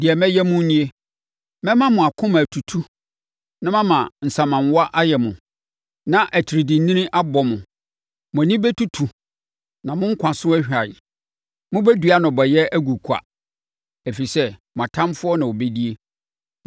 deɛ mɛyɛ mo nie: Mɛma mo akoma atutu na mama nsamanwa ayɛ mo, na atiridiinini abɔ mo. Mo ani bɛtutu, na mo nkwa so ahwan. Mobɛdua nnɔbaeɛ agu kwa, ɛfiri sɛ, mo atamfoɔ na wɔbɛdie.